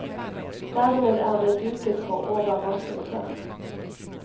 Dermed er det duket for overraskelser.